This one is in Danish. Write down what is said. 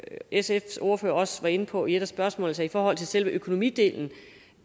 sfs ordfører også var inde på i et af spørgsmålene i forhold til selve økonomidelen